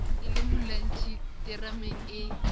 e le molwantshi terameng ee